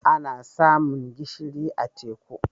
Ana samun gishiri a teku.